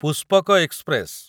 Pushpak express